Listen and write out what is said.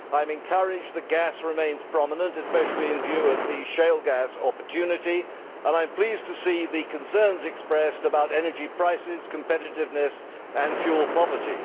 I am encouraged that gas remains prominent, especially in view of the shale gas opportunity, and I am pleased to see the concerns expressed about energy prices, competitiveness and fuel poverty.